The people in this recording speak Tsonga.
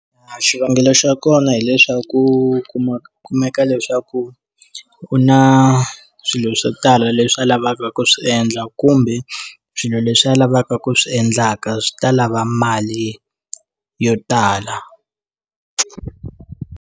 Xivangelo xa kona hileswaku u kuma ku kumeka leswaku u na swilo swo tala leswi a lavaka ku swi endla kumbe swilo leswi a lavaka ku swi endlaka swi ta lava mali yo tala.